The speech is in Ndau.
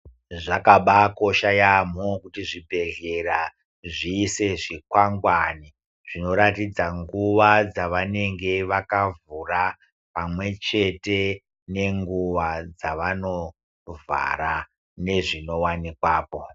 Zvakabakosha yaamho kuti zvibhedhlera zvirisei zvikwangwani zvinoratidza nguva dzavanenge vakavhura pamwechete nenguva dzavanovhara nezvinowanikwapo.